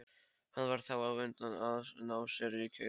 Hann varð þá á undan að ná sér í kærustu.